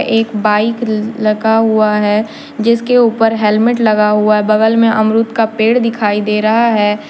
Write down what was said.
एक बाइक लगा हुआ है जिसके ऊपर हेलमेट लगा हुआ है बगल में अमरूद का पेड़ दिखाई दे रहा है।